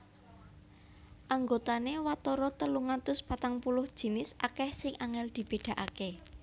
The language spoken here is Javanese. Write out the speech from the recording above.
Anggotané watara telung atus patang puluh jinis akèh sing angèl dibédakaké